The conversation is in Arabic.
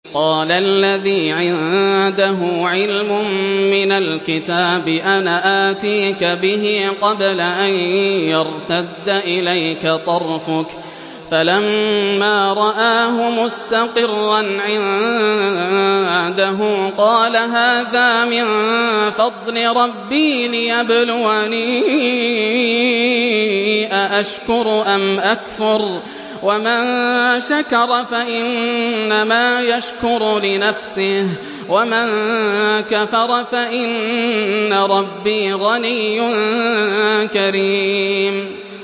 قَالَ الَّذِي عِندَهُ عِلْمٌ مِّنَ الْكِتَابِ أَنَا آتِيكَ بِهِ قَبْلَ أَن يَرْتَدَّ إِلَيْكَ طَرْفُكَ ۚ فَلَمَّا رَآهُ مُسْتَقِرًّا عِندَهُ قَالَ هَٰذَا مِن فَضْلِ رَبِّي لِيَبْلُوَنِي أَأَشْكُرُ أَمْ أَكْفُرُ ۖ وَمَن شَكَرَ فَإِنَّمَا يَشْكُرُ لِنَفْسِهِ ۖ وَمَن كَفَرَ فَإِنَّ رَبِّي غَنِيٌّ كَرِيمٌ